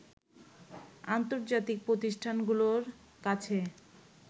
আন্তজার্তিক প্রতিষ্ঠানগুলোর কাছে